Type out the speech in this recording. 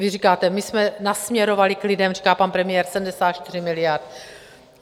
Vy říkáte: My jsme nasměrovali k lidem, říká pan premiér, 74 miliard.